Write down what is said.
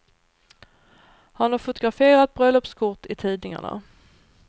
Han har fotograferat bröllopskort i tidningarna.